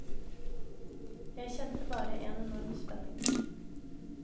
Jeg kjente bare en enorm spenning.